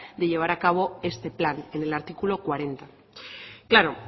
de llevar acabo este plan en el artículo cuarenta claro